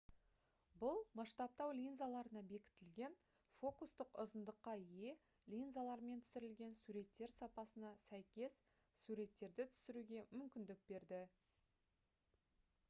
бұл масштабтау линзаларына бекітілген фокустық ұзындыққа ие линзалармен түсірілген суреттер сапасына сәйкес суреттерді түсіруге мүмкіндік берді